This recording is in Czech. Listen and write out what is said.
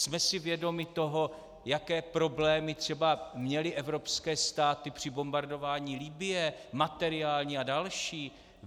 Jsme si vědomi toho, jaké problémy třeba měly evropské státy při bombardování Libye, materiální a další?